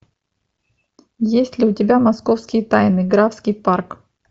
есть ли у тебя московские тайны графский парк